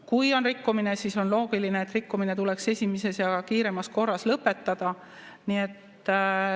Kui on rikkumine, siis on loogiline, et rikkumine tuleks kiiremas korras lõpetada.